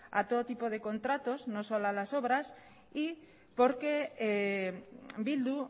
a todo tipo de contratos no solo a las obras y porque bildu